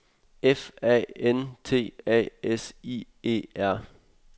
F A N T A S I E R